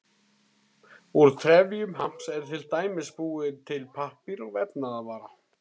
Úr trefjum hamps er til dæmis búinn til pappír og vefnaðarvara.